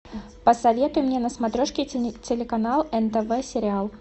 посоветуй мне на смотрешке телеканал нтв сериал